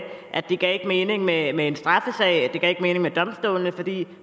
at det ikke gav mening med en straffesag ikke mening med domstolene fordi